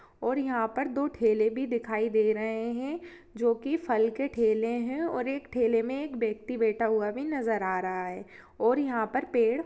--और यहाँ पर दो ठेले भी दिखाई दे रहे हैं जो की फल के ठेले हैं और ठेले में एक व्यक्ति बैठा हुआ भी नजर आ रहा है और यहाँ पर पेड़ --